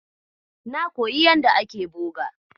Na koyi yanda ake boga.